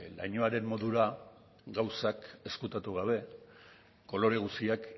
lainoaren modura gauzak ezkutatu gabe kolore guztiak